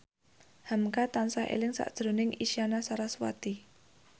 hamka tansah eling sakjroning Isyana Sarasvati